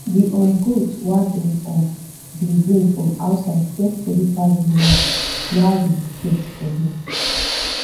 the um goat wa them um been bring from outside get body pass the once wa we get for here